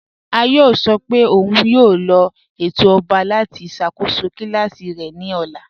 Àyọ̀ sọ́ pé ọ̀un yóò lọ̀ ètò ọ̀ba láti ṣakóṣọ́ kílàsí rẹ̀ ni ọ̀là.